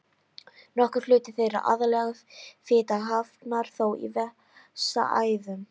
Nokkur hluti þeirra, aðallega fita, hafnar þó í vessaæðum.